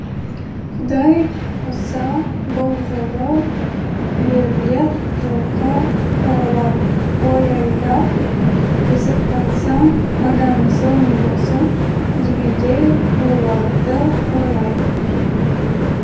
құдай қосса бұл жолы үйірлеп жылқы қоралап қой айдап тізіп қайтса одан асыл не болсын дегендей ойларды ойлайтын